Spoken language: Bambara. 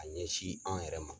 A ɲɛsin an yɛrɛ ma.